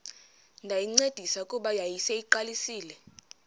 ndayincedisa kuba yayiseyiqalisile